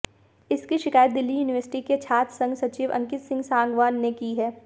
इसकी शिकायत दिल्ली यूनिवर्सिटी के छात्र संघ सचिव अंकित सिंह सांगवान ने की है